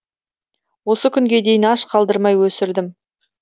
осы күнге дейін аш қалдырмай өсірдім